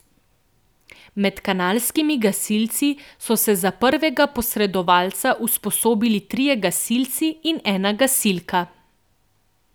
Med kanalskimi gasilci so se za prvega posredovalca usposobili trije gasilci in ena gasilka.